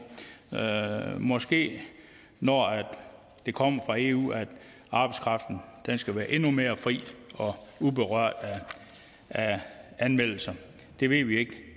måske når det kommer fra eu at arbejdskraften skal være endnu mere fri og uberørt af anmeldelser det ved vi ikke